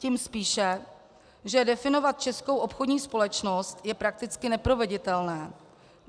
Tím spíše, že definovat českou obchodní společnost je prakticky neproveditelné.